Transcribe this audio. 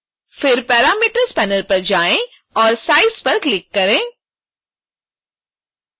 फिर parameters panel पर जाएँ और size पर क्लिक करें